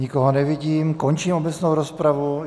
Nikoho nevidím, končím obecnou rozpravu.